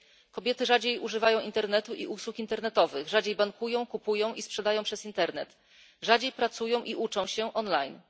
Kobiety rzadziej używają internetu i usług internetowych, rzadziej bankują, kupują i sprzedają przez internet, rzadziej pracują i uczą się online.